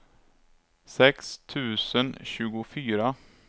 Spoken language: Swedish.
sex tusen tjugofyra